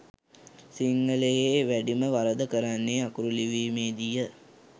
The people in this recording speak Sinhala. සිංහලයේ වැඩිම වරද කරන්නේ අකුරු ලිවීමේ දී ය